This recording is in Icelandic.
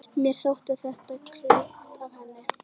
Mér þótti þetta klókt af henni.